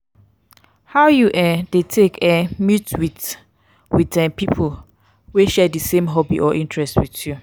how you um dey take um meet with with um people wey share di same hobby or interest with you?